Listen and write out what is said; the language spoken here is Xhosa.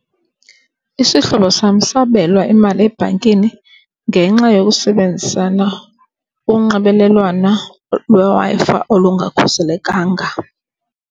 Isihlobo sam sabelwa imali ebhankini ngenxa yokusebenzisana unxibelelwano lweWi-Fi olungakhuselekanga.